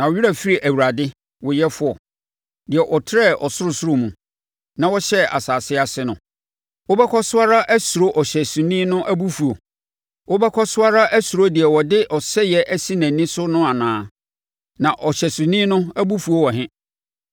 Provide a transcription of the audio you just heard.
Na wo werɛ afiri Awurade, wo yɛfoɔ, deɛ ɔtrɛɛ ɔsorosoro mu na ɔhyɛɛ asase ase no? Wobɛkɔ so ara asuro ɔhyɛsoni no abufuo? Wobɛkɔ so ara asuro deɛ ɔde ɔsɛeɛ asi nʼani so no anaa? Na ɔhyɛsoni no abufuo wɔ he?